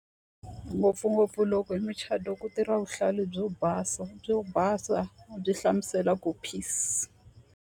Ngopfungopfu loko hi muchato ku tirha vuhlalu byo basa byo basa byi hlamusela ku peace.